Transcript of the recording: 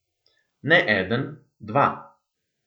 Ne eden, dva.